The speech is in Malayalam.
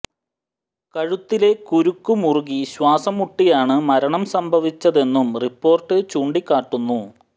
കഴുത്തിലെ കുരുക്ക് മുറുകി ശ്വാസം മുട്ടിയാണ് മരണം സംഭവിച്ചതെന്നും റിപ്പോർട്ട് ചൂണ്ടിക്കാട്ടുന്നു